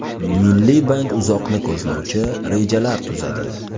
Milliy bank uzoqni ko‘zlovchi rejalar tuzadi.